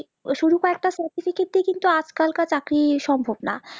ওই শুধু কয়েকটা certificate কিন্তু আজ কালকার চাকরি সম্ভব না